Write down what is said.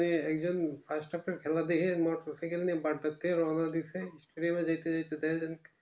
মানে একজন first half খেলা দেখে আমরা এর বার্তা থেকে অন্য দিকে থেকে